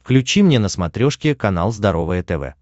включи мне на смотрешке канал здоровое тв